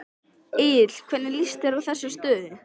Egill hvernig líst þér á þessa stöðu?